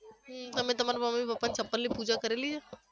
હમ તમે તમારા મમ્મી પપ્પાના ચપ્પલની પુજા કરેલી છે?